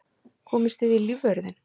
Komust þið í lífvörðinn?